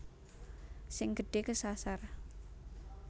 Sing gedhe kesasar